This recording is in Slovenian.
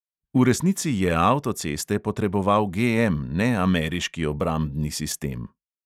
V resnici je avtoceste potreboval GM, ne ameriški obrambni sistem.